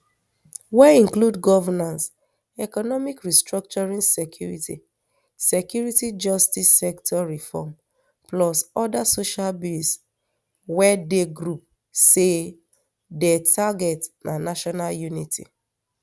wey include governance economic restructuring security security justice sector reform plus oda social bills wey di group say dey target national unity